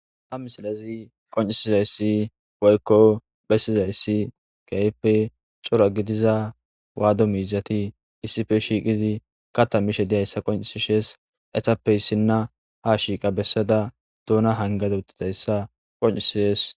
Ha misilezi qoncisizaysi woyko besizaysi kehipe cora gidiza wadu mizati isippe shiiqidi katha mishe de'izaysa qocisises etappe isina ha shiiqa besada doona hangada utizaysa qoncises.